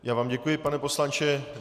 Já vám děkuji, pane poslanče.